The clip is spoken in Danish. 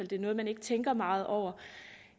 det er noget man ikke tænker meget over